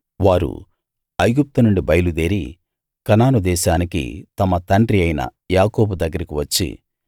వారు ఐగుప్తునుండి బయలు దేరి కనాను దేశానికి తమ తండ్రి అయిన యాకోబు దగ్గరికి వచ్చి